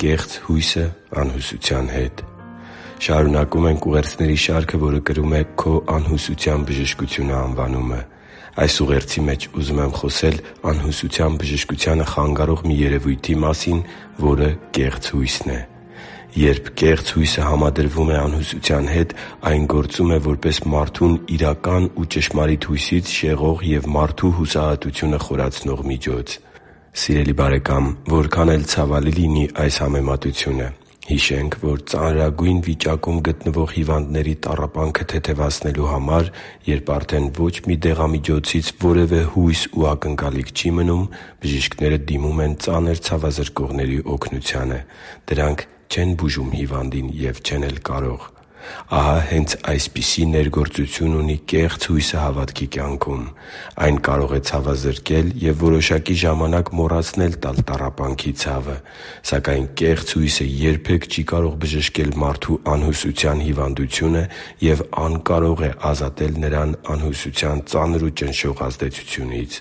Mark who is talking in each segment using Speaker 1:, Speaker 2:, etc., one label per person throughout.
Speaker 1: Կեղծ հույսը անհուսության հետ Շարունակում ենք ուղերձների շարքը, որը կրում է «Քո անհուսության բժշկությունը» անվանումը։ Այս ուղերձի մեջ ուզում եմ խոսել անհուսության բժշկությանը խանգարող մի երևույթի մասին, որը կեղծ հույսն է։ Երբ կեղծ հույսը համադրվում է անհուսության հետ, այն գործում է որպես մարդուն իրական ու ճշմարիտ հույսից շեղող և մարդու հուսահատությունը խորացնող միջոց։ Սիրելի՛ բարեկամ, որքան էլ ցավալի լինի այս համեմատությունը, հիշենք, որ ծանրագույն վիճակում գտնվող հիվանդների տառապանքը թեթևացնելու համար, երբ արդեն ոչ մի դեղամիջոցից որևէ հույս ու ակնկալիք չի մնում, բժիշկները դիմում են ծանր ցավազրկողների օգնությանը։ Դրանք չեն բուժում հիվանդին և չեն էլ կարող․․․ Ահա հե՛նց այսպիսի ներգործություն ունի կեղծ հույսը հավատքի կյանքում։ Այն կարող է ցավազրկել և որոշակի ժամանակ մոռացնել տալ տառապանքի ցավը։ Սակայն կեղծ հույսը երբե՛ք չի կարող բժշկել մարդու անհուսության հիվանդությունը և անկարող է ազատել նրան անհուսության ծանր ու ճնշող ազդեցությունից։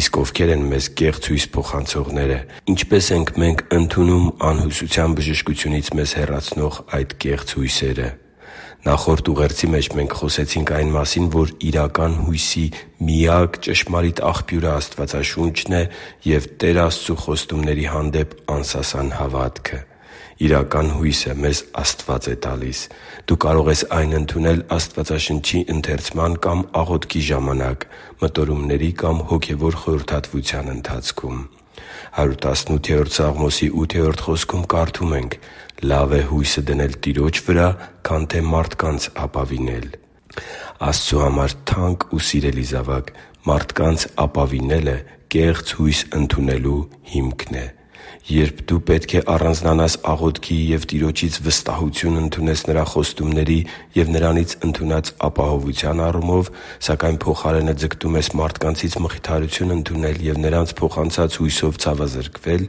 Speaker 1: Իսկ ովքե՞ր են մեզ կեղծ հույս փոխանցողները։ Ինչպե՞ս ենք մենք ընդունում անհուսության բժշկությունից մեզ հեռացնող այդ կեղծ հույսերը։ Նախորդ ուղերձի մեջ մենք խոսեցինք այն մասին, որ իրական հույսի միակ ճշմարիտ աղբյուրը Աստվածաշունչն է և Տեր Աստծու խոստումների հանդեպ անսասան հավատքը։ Իրական հույսը մեզ Աստված է տալիս։ Դու կարող ես այն ընդունել Աստվածաշնչի ընթերցման կամ աղոթքի ժամանակ, մտորումների կամ հոգևոր խորհրդատվության ընթացքում։ «Լավ է հույսը դնել Տիրոջ վրա, քան թե մարդկանց ապավինել» Աստծու համար թանկ ու սիրելի՛ զավակ, մարդկանց ապավինելը կեղծ հույս ընդունելու հիմքն է։ Երբ դու պետք է առանձնանաս աղոթքի և Տիրոջից վստահություն ընդունես Նրա խոստումների և Նրանից ընդունած ապահովության առումով, սակայն փոխարենը` ձգտում ես մարդկանցից մխիթարություն ընդունել և նրանց փոխանցած հույսով ցավազրկվել,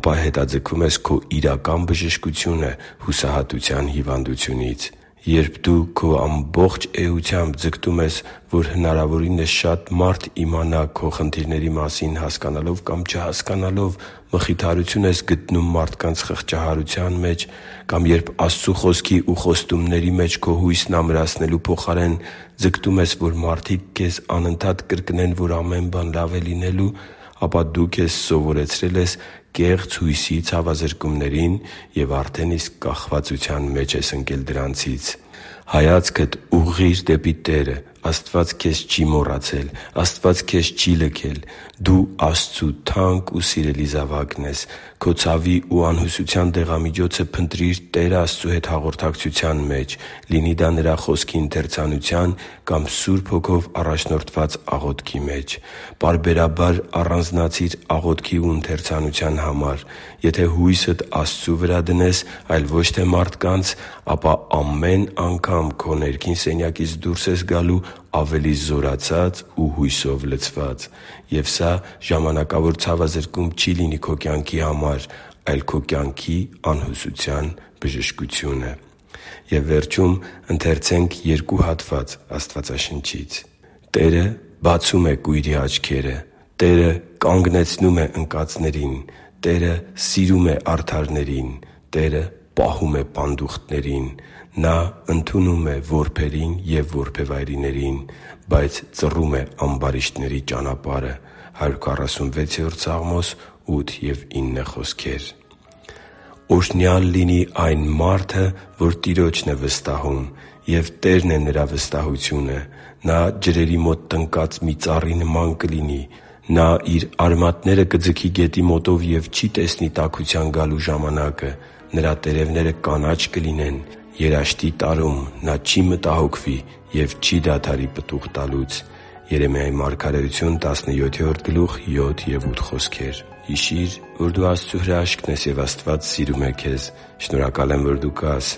Speaker 1: ապա հետաձգում ես քո իրական բժշկությունը հուսահատության հիվանդությունից։ Երբ դու քո ամբողջ էությամբ ձգտում ես, որ որքան հնարավոր է շատ մարդ իմանա քո խնդիրների մասին, հասկանալով կամ չհասկանալով՝ մխիթարություն ես գտնում մարդկանց խղճահարության մեջ, կամ երբ Աստծու Խոսքի և խոստումների մեջ քո հույսն ամրացնելու փոխարեն ձգտում ես, որ մարդիկ քեզ անընդհատ կրկնեն, որ ամեն բան լավ է լինելու, ապա դու քեզ սովորեցրել ես կեղծ հույսի ցավազրկումներին և արդեն իսկ կախվածության մեջ ես ընկել դրանցից։ Հայացքդ ուղղի՛ր դեպի Տերը։ Աստված քեզ չի՛ մոռացել։ Աստված քեզ չի՛ լքել։ Դու Աստծու թանկ ու սիրելի զավակն ես։ Քո ցավի ու անհուսության դեղամիջոցը փնտրի՛ր Տեր Աստծու հետ հաղորդակցության մեջ՝ լինի դա Նրա Խոսքի ընթերցանության կամ Սուրբ Հոգով առաջնորդված աղոթքի մեջ։ Պարբերաբար առանձնացի՛ր աղոթքի ու ընթերցանության համար։ Եթե հույսդ Աստծու վրա դնես, այլ ոչ թե մարդկանց, ապա ամեն անգամ քո ներքին սենյակից դուրս ես գալու ավելի զորացած ու հույսով լցված։ Եվ սա ժամանակավոր ցավազրկում չի լինի քո կյանքի համար, այլ քո կյանքի անհուսության բժշկությունը։ «Տերը բացում է կույրերի աչքերը, Տերը կանգնեցնում է ընկածներին, Տերը սիրում է արդարներին։ Տերը պահում է պանդուխտներին. Նա ընդունում է որբերին և որբևայրիներին, բայց ծռում է ամբարիշտների ճանապարհը» «Օրհնյա՜լ լինի այն մարդը, որ Տիրոջն է վստահում, և Տերն է նրա վստահությունը։ Նա ջրերի մոտ տնկված մի ծառի նման կլինի. նա իր արմատները կձգի գետի մոտով և չի տեսնի տաքության գալու ժամանակը. նրա տերևները կանաչ կլինեն, երաշտի տարում նա չի մտահոգվի և չի դադարի պտուղ տալուց» Հիշի՛ր, որ դու Աստծո հրաշքն ես, և Աստված սիրում է քեզ։ Շնորհակալ եմ, որ դու կա՛ս։